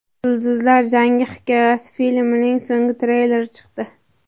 Yulduzlar jangi hikoyasi” filmining so‘nggi treyleri chiqdi.